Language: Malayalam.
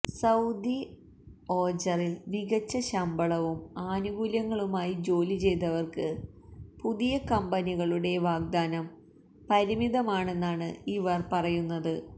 സൌദി ഓജറിൽ മികച്ച ശമ്പളവും ആനുകൂല്യങ്ങളുമായി ജോലി ചെയ്തവർക്ക് പുതിയ കമ്പനികളുടെ വാഗ്ദാനം പരിമിതമാണെന്നാണ് ഇവർ പറയുന്നത്